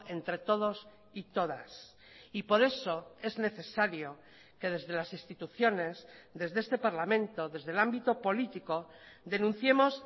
entre todos y todas y por eso es necesario que desde las instituciones desde este parlamento desde el ámbito político denunciemos